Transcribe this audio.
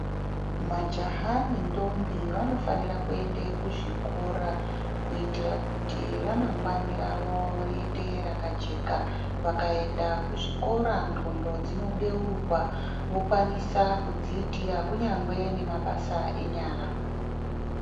Majaha nendombi vanofanire kuende kuzvikora kuitira kuti ramangwani ravo riite rakajeka ,vakaenda kuzvikora nxlondo dzinobeurwa vokwanisa kuzviitira kunyangwe nemabasa enyara.